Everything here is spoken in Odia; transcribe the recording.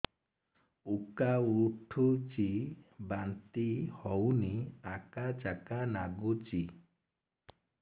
ଉକା ଉଠୁଚି ବାନ୍ତି ହଉନି ଆକାଚାକା ନାଗୁଚି